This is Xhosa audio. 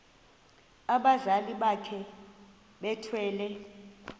abazali bakhe bethwele